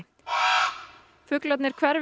fuglarnir hverfi